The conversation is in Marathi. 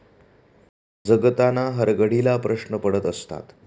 जगताना हरघडीला प्रश्न पडत असतात.